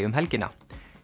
um helgina